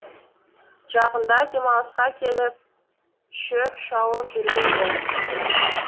жақында демалысқа келіп шөп шауып жүрген ді